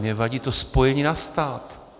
Mně vadí to spojení na stát.